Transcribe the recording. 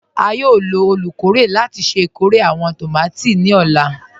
À yóò lọ olúkọ̀rè láti ṣẹ ikórè àwọn tómati ni ọ̀la.